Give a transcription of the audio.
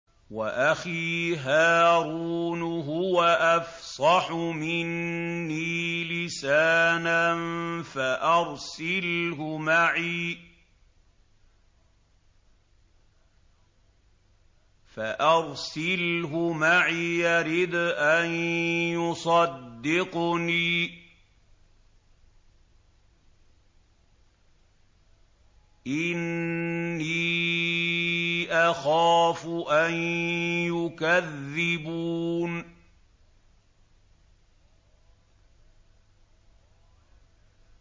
وَأَخِي هَارُونُ هُوَ أَفْصَحُ مِنِّي لِسَانًا فَأَرْسِلْهُ مَعِيَ رِدْءًا يُصَدِّقُنِي ۖ إِنِّي أَخَافُ أَن يُكَذِّبُونِ